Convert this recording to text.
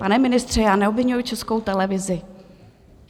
Pane ministře, já neobviňuji Českou televizi.